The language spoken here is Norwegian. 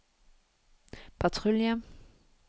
patrulje